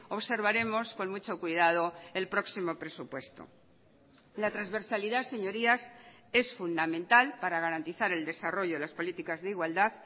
observaremos con mucho cuidado el próximo presupuesto la transversalidad señorías es fundamental para garantizar el desarrollo de las políticas de igualdad